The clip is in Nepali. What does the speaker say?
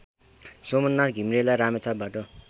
सोमनाथ घिमिरेलाई रामेछापबाट